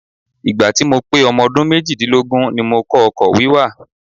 Ìgbà tí mo pé ọmọ ọdún méjì-dínlógún ni mo kọ́ ọkọ̀ wíwà.